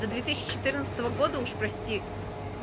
до две тысячи четырнадцатого года уж прости